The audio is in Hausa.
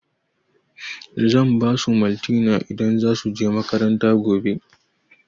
Zan basu maltina idan za su je makaranta gobe